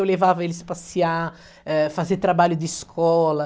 Eu levava eles passear, eh, fazer trabalho de escola.